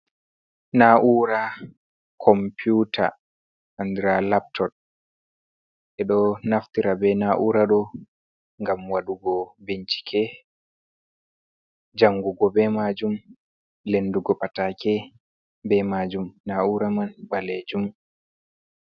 Na'ura Computa andra laptod ɓe ɗo naftira be na'ura ɗo ngam waɗugo bincike jangugo be majum, lendugo patake be majum, na'ura man ɓalejum.